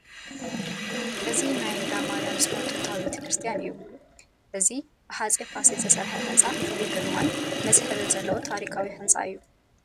እዚ ናይ እንዳ ማርያም ፅዮን ጥንታዊ ቤተ ክርስቲያን እዩ፡፡ እዚ ብሃፀይ ፋሲል ዝተሰርሐ ህንፃ ፍሉይ ግርማን መስሕብን ዘለዎ ታሪካዊ ህንፃ እዩ፡፡